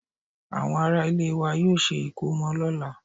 Àwọn ará ilé wa yóò ṣe ìkómọ lọ́la